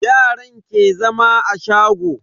Yaran ke zama a shago.